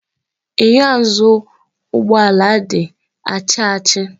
Enyo azụụ ụgbọ ala di achi achi.